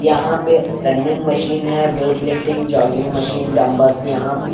यहां पे running machine है weight lifting jogging machine dumbbells यहां पे --